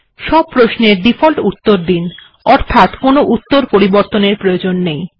সব প্রশ্নের ডিফল্ট উত্তর দিন অর্থাৎ কোনো উত্তর পরিবর্তনের প্রয়োজন নেই